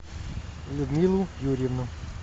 людмилу юрьевну